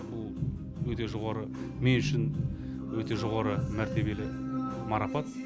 бұл мен үшін өте жоғары мәртебелі марапат